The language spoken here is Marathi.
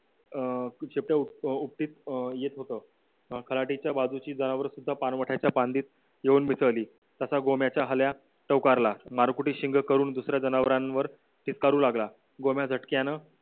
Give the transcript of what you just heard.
अं शेपट्या उपटीत येत होतं अं खराडे च्या बाजूची जावळ सुद्धा पानवट्याच्या पंडित येऊन मिसळली तसा गोम्याचा हल्या चौकार ला मार कुठे शिंगं करून दुसऱ्या जनावरांवर चित्कारू लागला गोम्या झटक्यानं